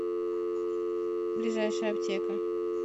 ближайшая аптека